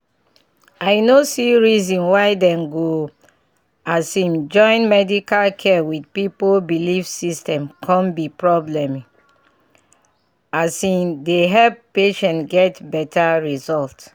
i no see reason why dem go um join medical care with people belief system come be porbleme um dey help patients get better result